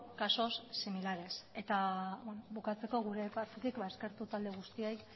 casos similares eta bukatzeko gure partetik eskertu talde guztiei